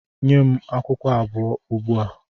Nye m akwụkwọ abụọ ugbua!